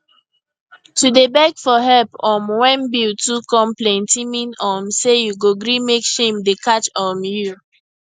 to dey beg for help um when bill too come plenty mean um say you go gree mek shame dey catch um you